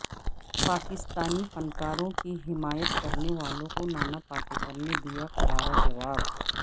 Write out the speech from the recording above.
پاکستانی فنکاروں کی حمایت کرنے والوں کو نانا پاٹیکر نے دیا کرارا جواب